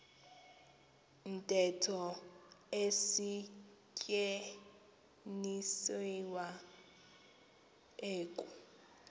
ntetho isetyenziswa eku